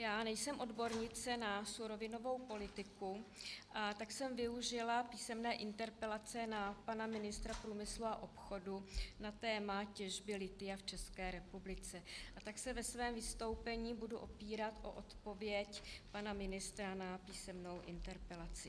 Já nejsem odbornice na surovinovou politiku, tak jsem využila písemné interpelace na pana ministra průmyslu a obchodu na téma těžby lithia v České republice, a tak se ve svém vystoupení budu opírat o odpověď pana ministra na písemnou interpelaci.